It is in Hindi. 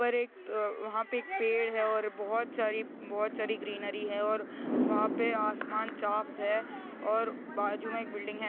ऊपर एक अ वहाँ पर एक पेड़ है और बहुत सारी बहुत सारी ग्रीनरी है और वहाँ पे आसमान चाप है और बाजू मे एक बिल्डिंग है।